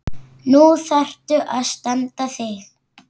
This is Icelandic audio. Nú þarftu að standa þig.